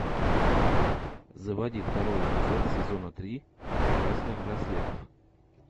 заводи второй эпизод сезона три красных браслетов